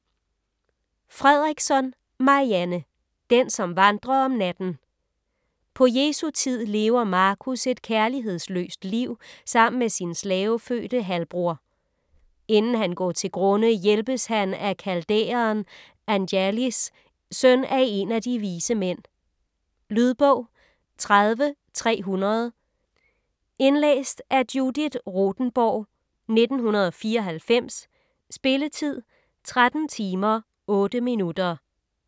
Fredriksson, Marianne: Den som vandrer om natten - På Jesu tid lever Marcus et kærlighedsløst liv sammen med sin slavefødte halvbroder. Inden han går til grunde hjælpes han af kaldæeren Anjalis - søn af én af de vise mænd. Lydbog 30300 Indlæst af Judith Rothenborg, 1994. Spilletid: 13 timer, 8 minutter.